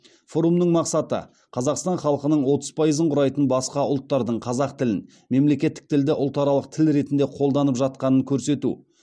форумның мақсаты қазақстан халқының отыз пайызын құрайтын басқа ұлттардың қазақ тілін мемлекеттік тілді ұлтаралық тіл ретінде қолданып жатқанын көрсету